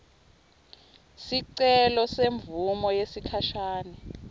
sicelo semvumo yesikhashane